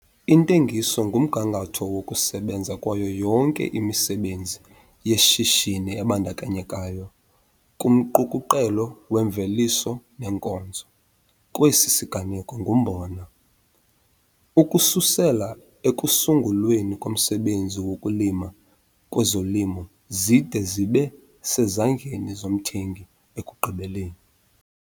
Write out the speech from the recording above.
Intengiso ngumgangatho wokusebenza kwayo yonke imisebenzi yeshishini ebandakanyeka kumqukuqelo weemveliso neenkonzo, kwesi siganeko ngumbona, ukususela ekusungulweni komsebenzi wokulima kwezolimo zide zibe sezandleni zomthengi ekugqibeleni.